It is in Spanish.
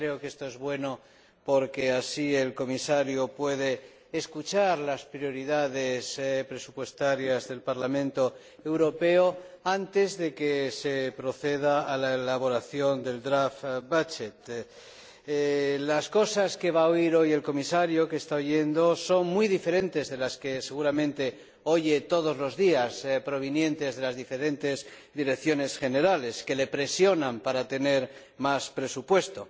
Creo que esto es bueno, porque así el Comisario puede escuchar las prioridades presupuestarias del Parlamento Europeo antes de que se proceda a la elaboración del proyecto de presupuesto Las cosas que está oyendo o que va a oír hoy el Comisario son muy diferentes de las que seguramente oye todos los días provinientes de las diferentes direcciones generales, que le presionan para tener más presupuesto.